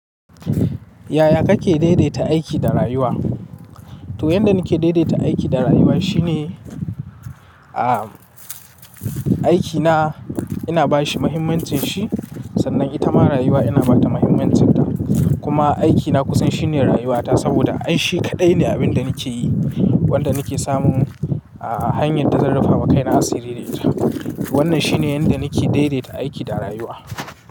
Yaya kake daidaita aiki da rayuwa? To, yanda nake daidaita aiki da rayuwa shine, ah, aikina ina bashi muhimmancin shi sannan ita ma rayuwa ina bata muhimmancinta. Kuma aikina kusan shine rayuwata saboda ai shi kaɗai ne abin da nake yi wanda nake samun, ah, hanyar da zan rufawa kaina a sirirri da ita. Wannan shine yanda nake daidaita aiki da rayuwa.